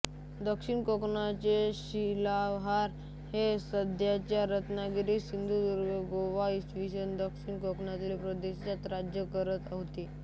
दक्षिण कोकणचे शिलाहार हे सध्याच्या रत्नागिरी सिंधुदुर्ग गोवा इ दक्षिणी कोकण प्रदेशात राज्य करत होते